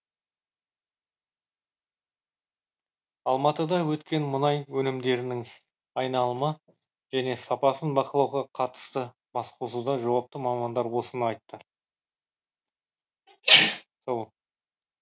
алматыда өткен мұнай өнімдерінің айналымы және сапасын бақылауға қатысты басқосуда жауапты мамандар осыны айтты